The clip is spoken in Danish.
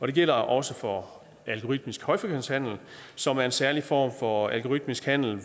det gælder også for algoritmisk højfrekvent handel som er en særlig form for algoritmisk handel